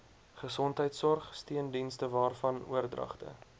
gesondheidsorg steundienstewaarvan oordragte